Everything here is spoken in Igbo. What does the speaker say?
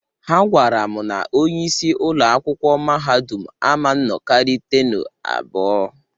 Ha gwara m na onye isi ụlọakwụkwụ mahadum ama nnọkarị tenu abụọ.